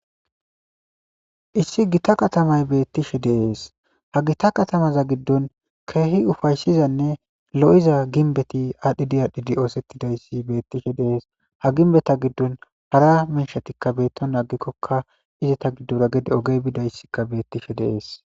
Issi gita katamay beettishe deees ha gita katamaza giddon keehi ufayssizanne lo7iza ginbeti aadhdhidi aadhdhidi oosettidayssi beettishe dees ha ginbeta giddon hara miishatikka beetto naagikkokka izeta giddora gede ogey bidayssikka beettishe deees.